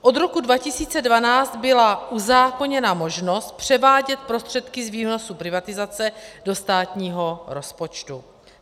Od roku 2012 byla uzákoněna možnost převádět prostředky z výnosů privatizace do státního rozpočtu.